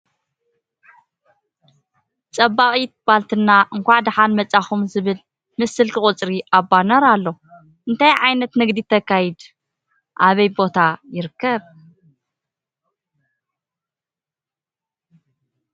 ፀባቂት ባልትና እንካዕ ዳሕና መፃእኩም ዝብል ምስ ስልኪ ቁፅሪ ኣብ ባነር ኣሎ ። ኣንታይ ዕይነይት ንግዲ ተካይድ ኣበይ ቦታ ይርከብ ?